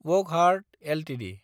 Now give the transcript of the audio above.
Wockhardt Ltd